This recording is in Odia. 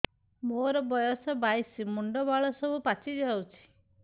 ମୋର ବୟସ ବାଇଶି ମୁଣ୍ଡ ବାଳ ସବୁ ପାଛି ଯାଉଛି